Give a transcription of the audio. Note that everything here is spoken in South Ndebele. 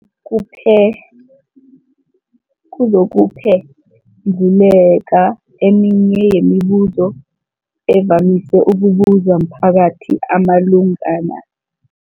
kuphe kuzokuphe nduleka eminye yemibu zo evamise ukubuzwa mphakathi malungana nomjovo.